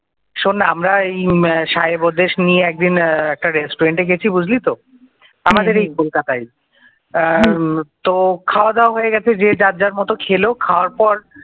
শোন না আমরা ওই সাহেব ওদেশ নিয়ে একদিন একটা রেস্টুরেন্টে গেছে বুঝলি তো আমাদের এই কলকাতায় তো খাওয়া দাওয়া হয়ে গেছে যে যার যার মত খেলো খাওয়ার পর,